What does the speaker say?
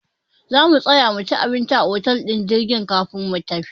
Za mu tsaya muci abinci a otel ɗin filin jirgin kafin mu tafi.